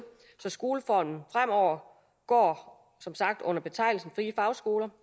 så skoleordningen fremover går under betegnelsen frie fagskoler